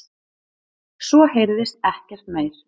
Svo heyrðist ekkert meir.